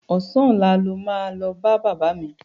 Ọ̀sán ọ̀la lo máa lọ bá bàbá mi.